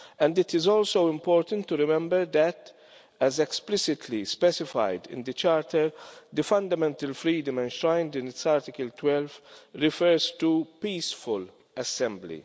It is also important to remember that, as explicitly specified in the Charter, the fundamental freedom enshrined in Article 12 refers to peaceful assembly.